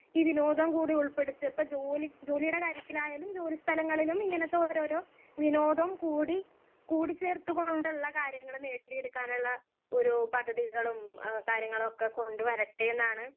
speaker 1 കൂടി ഉള്പെടുത്തിയപ്പോ ജോലി ജോലീടെ കാര്യത്തിലായാലും ജോലി സ്ഥലങ്ങളിലും ഇങ്ങനെത്തെ ഓരോരോ വിനോദം കൂടി കൂടിചേർത്ത് കൊണ്ട്ള്ള കാര്യങ്ങൾ നേടിയെടുക്കാനുള്ള ഒരു പദ്ധതികളും എഹ് കാര്യങ്ങളൊക്കെ കൊണ്ട് വരട്ടെന്നാണ്